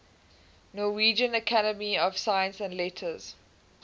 norwegian academy of science and letters